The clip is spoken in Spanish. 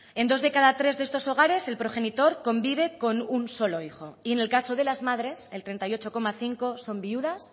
en dos de cada tres de estos hogares el progenitor convive con un solo hijo y en el caso de las madres el treinta y ocho coma cinco son viudas